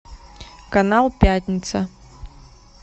канал пятница